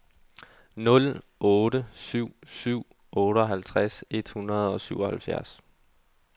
nul otte syv syv otteoghalvtreds et hundrede og syvoghalvfjerds